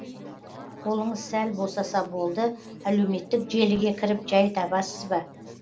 қолыңыз сәл босаса болды әлеуметтік желіге кіріп жай табасыз ба